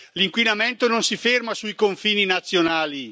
L'inquinamento non si ferma sui confini nazionali.